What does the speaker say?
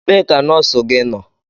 Ebee ka nọọsụ gị nọ?